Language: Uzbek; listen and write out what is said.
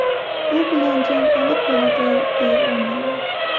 Bu bilan jang aniq bo‘ladi, deya olmayman.